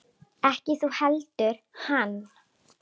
Ekki þú heldur hann.